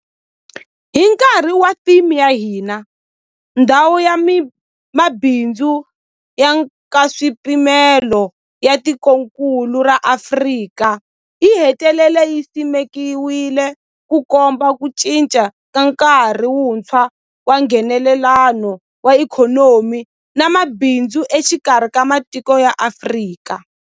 Hi nkarhi wa theme ya hina, Ndhawu ya Mabindzu ya Nkaswipimelo ya Tikokulu ra Afrika yi hetelele yi simekiwile, Ku komba ku cinca ka nkarhi wuntshwa wa Nghenelelano wa ikhonomi na mabindzu exikarhi ka matiko ya Afrika.